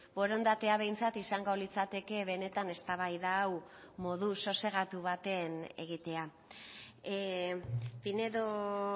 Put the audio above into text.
borondatea behintzat izango litzateke benetan eztabaida hau modu sosegatu baten egitea pinedo